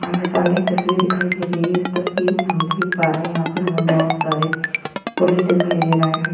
हमारे सामने एक तस्वीर दिखाई दे रही है। इस तस्वीर में हम देख पा रहे हैं। यहाँ पर हमे बहोत सारे पुरुष दिखाई दे रहे हैं।